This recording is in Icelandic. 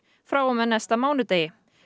frá og með næsta mánudegi